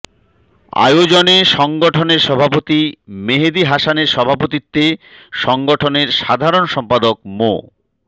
আয়োজনে সংগঠনের সভাপতি মেহেদী হাসানের সভাপতিত্বে সংগঠনের সাধারণ সম্পাদক মো